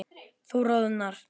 Þú roðnar.